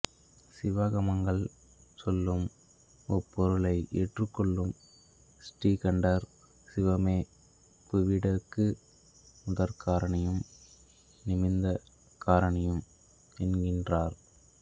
சிவாகமங்கள் சொல்லும் முப்பொருளை ஏற்றுக்கொள்ளும் ஸ்ரீகண்டர் சிவமே புடவிக்கு முதற்காரணியும் நிமித்த காரணியும் என்கின்றார்